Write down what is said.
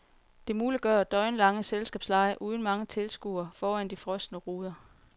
Det muliggør døgnlange selskabslege uden mange tilskuere foran de frosne ruder.